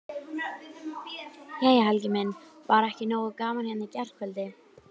Jæja Helgi minn, var ekki nógu gaman hérna í gærkvöldi?